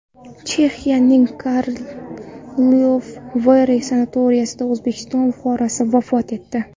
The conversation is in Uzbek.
Chexiyaning Karlovy Vary sanatoriyasida O‘zbekiston fuqarosi vafot etdi.